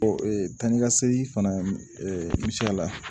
tan ni ka segin fana misi la